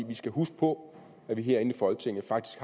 vi skal huske på at vi herinde i folketinget faktisk